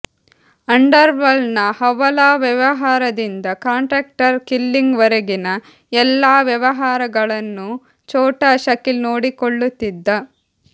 ಅಂಡರ್ವರ್ಲ್ಡ್ನ ಹವಾಲಾ ವ್ಯವಹಾರದಿಂದ contract killing ವರೆಗಿನ ಎಲ್ಲಾ ವ್ಯವಹಾರಗಳನ್ನೂ ಛೋಟಾ ಶಕೀಲ್ ನೋಡಿಕೊಳ್ಳುತ್ತಿದ್ದ